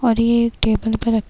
और ये एक टेबल पर रख --